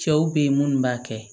Cɛw be yen minnu b'a kɛ